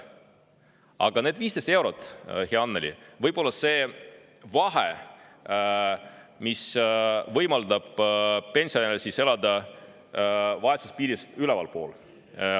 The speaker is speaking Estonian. Aga need 15 eurot, hea Annely, võivad olla need, mis võimaldavad pensionäril elada vaesuspiirist ülalpool.